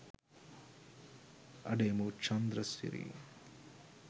අඩේ මූ චන්ද්‍රසිරි